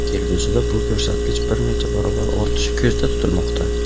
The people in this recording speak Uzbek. Kelgusida bu ko‘rsatkich bir necha barobar ortishi ko‘zda tutilmoqda.